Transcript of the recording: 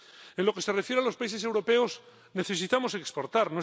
En lo que se refiere a los países europeos, necesitamos exportar.